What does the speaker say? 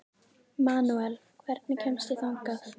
Manuel, hvernig kemst ég þangað?